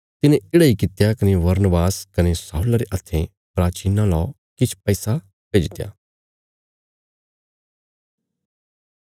तिने येढ़ा इ कित्या कने बरनबास कने शाऊला रे हथें प्राचीनां ला किछ पैसा भेजित्या